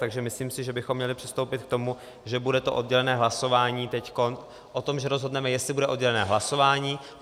Takže si myslím, že bychom měli přistoupit k tomu, že bude to oddělené hlasování teď o tom, že rozhodneme, jestli bude oddělené hlasování.